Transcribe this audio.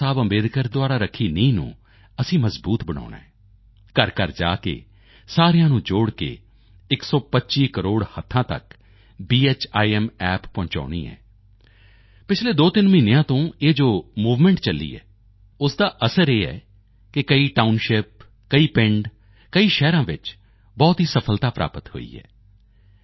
ਬਾਬਾ ਸਾਹਿਬ ਦੁਆਰਾ ਰੱਖੀ ਨੀਂਹ ਨੂੰ ਅਸੀਂ ਮਜ਼ਬੂਤ ਬਣਾਉਣਾ ਹੈ ਘਰਘਰ ਜਾ ਕੇ ਸਾਰਿਆਂ ਨੂੰ ਜੋੜ ਕੇ 125 ਕਰੋੜ ਹੱਥਾਂ ਤੱਕ ਭੀਮ App ਪਹੁੰਚਾਉਣੀ ਹੈ ਪਿਛਲੇ 23 ਮਹੀਨਿਆਂ ਤੋਂ ਇਹ ਜੋ ਮੂਵਮੈਂਟ ਚੱਲੀ ਹੈ ਉਸ ਦਾ ਅਸਰ ਇਹ ਹੈ ਕਿ ਕਈ ਟਾਊਨਸ਼ਿਪ ਕਈ ਪਿੰਡ ਕਈ ਸ਼ਹਿਰਾਂ ਵਿੱਚ ਬਹੁਤ ਹੀ ਸਫਲਤਾ ਪ੍ਰਾਪਤ ਹੋਈ ਹੈ